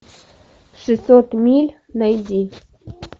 шестьсот миль найди